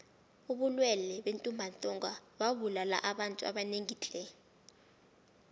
ubulwele bentumbantonga bubulala abantu abanengi tle